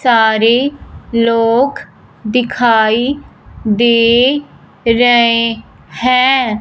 सारे लोग दिखाई दे रहे हैं।